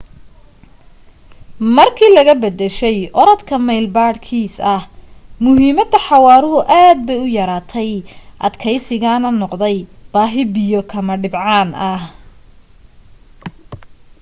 markii laga bedeshay orodka mayl badhkiis ah muhiimadii xawaaruhu aad bay u yaraatay adkaysigaana noqday baahi biyo kuma dhibcaan ah